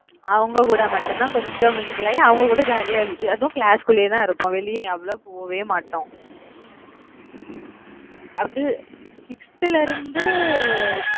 அவங்க கூட மட்டும்தான் கொஞ்சம் mingle ஆகி, அவங்க கூட jolly ஆ அதுவும் class க்குள்ளேயேதான் இருப்போம். வெளியே எவளோ போவே மாட்டோம். அது sixth ல இருந்து